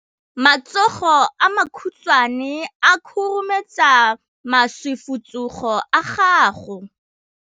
Matsogo a makhutshwane a khurumetsa masufutsogo a gago.